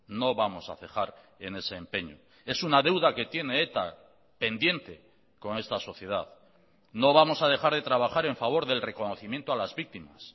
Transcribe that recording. no vamos a cejar en ese empeño es una deuda que tiene eta pendiente con esta sociedad no vamos a dejar de trabajar en favor del reconocimiento a las víctimas